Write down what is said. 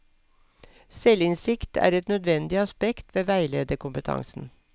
Selvinnsikt er et nødvendig aspekt ved veilederkompetansen.